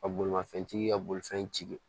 Ka bolimafɛntigi ka bolifɛntigi